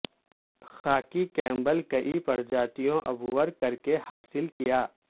خاکی Campbell کئی پرجاتیوں عبور کر کے حاصل کیا